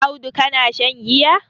Audu kana shan giya?